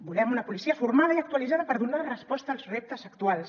volem una policia formada i actualitzada per donar resposta als reptes actuals